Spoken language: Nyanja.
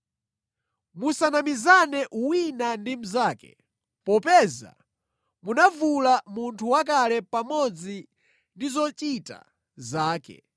Musanamizane wina ndi mnzake, popeza munavula munthu wakale pamodzi ndi zochita zake